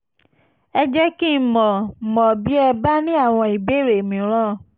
ẹ jẹ́ kí n mọ̀ n mọ̀ bí ẹ bá ní àwọn ìbéèrè mìíràn